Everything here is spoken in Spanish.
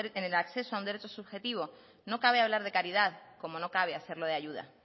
en el acceso a un derecho subjetivo no cabe hablar de caridad como no cabe hacerlo de ayuda